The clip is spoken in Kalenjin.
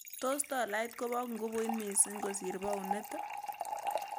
Tos' tolait koboo ngubut misiing' kosir paunit ii